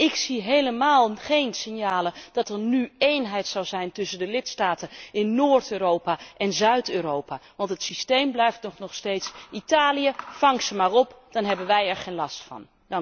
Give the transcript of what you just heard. Ik zie helemaal geen signalen dat er nu eenheid zou zijn tussen de lidstaten in Noord Europa en Zuid Europa, want het systeem blijft toch nog steeds Italië, vang ze maar op, dan hebben wij er geen last van!'